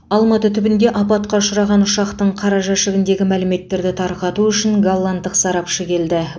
алматы түбінде апатқа ұшыраған ұшақтың қара жәшігіндегі мәліметтерді тарқату үшін голландық сарапшы келді